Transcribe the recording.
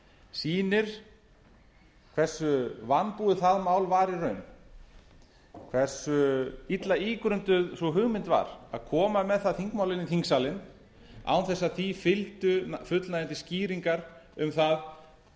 sýnir hversu vanbúið það mál var í raun hversu illa ígrunduð sú hugmynd var að koma með það þingmál inn í þingsalinn án þess að því fylgdu fullnægjandi skýringar um það